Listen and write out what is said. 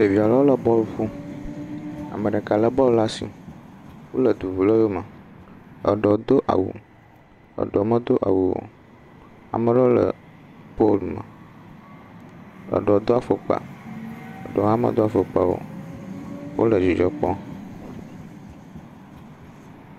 Ɖeviz ɖe wole bɔlu ƒom ame ɖeka le bɔl ɖe asi. Wole du ŋum le eyɔ me. Eɖewo do awu, eɖewo me do awu o. ame aɖewo le polu me, eɖwo do afɔkpa, eɖewo hã medo afɔkpa o. wole dzidzɔ kpɔ.